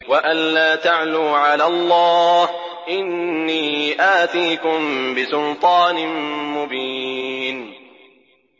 وَأَن لَّا تَعْلُوا عَلَى اللَّهِ ۖ إِنِّي آتِيكُم بِسُلْطَانٍ مُّبِينٍ